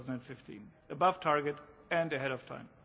2015. Above target and ahead of time.